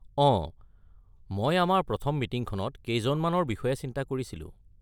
অঁ মই আমাৰ প্ৰথম মিটিঙখনত কেইজনমানৰ বিষয়ে চিন্তা কৰিছিলোঁ।